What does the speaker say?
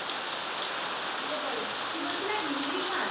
দিয়ে বোলো, কি বলছিলে হিন্দি গান?